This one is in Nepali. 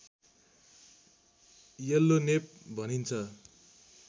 येल्लोनेप भनिन्छ